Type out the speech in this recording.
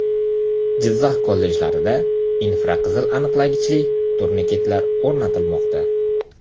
Jizzax kollejlarida infraqizil aniqlagichli turniketlar o‘rnatilmoqda.